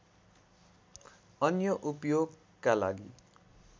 अन्य उपयोगका लागि